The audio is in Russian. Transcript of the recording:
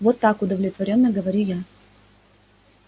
вот так удовлетворённо говорю я